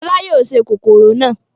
Fọlá yóò se kòkòrò náà.